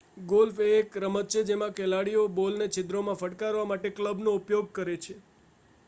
golf એ એક રમત છે જેમાં ખેલાડીઓ બોલને છિદ્રોમાં ફટકારવા ક્લબનો ઉપયોગ કરે છે